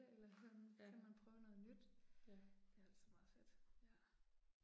Eller sådan, så kan man prøve noget nyt. Det er altså meget fedt ja